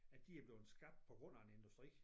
At de er bleven skabt på grund af en industri